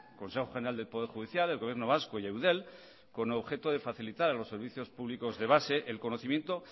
consejo general del poder judicial el gobierno vasco y eudel con el objeto de facilitar a los servicios públicos de base el conocimiento